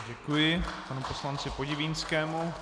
Děkuji panu poslanci Podivínskému.